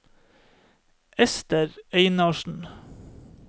Ester Einarsen